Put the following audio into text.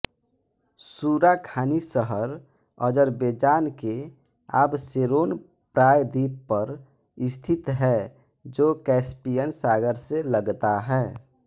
Surakhani शहर Azerbaijan के Absheron प्रायद्वीप पर स्थित है जो कैस्पियन सागर से लगता है